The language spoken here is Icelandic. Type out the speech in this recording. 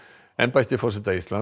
embætti forseta Íslands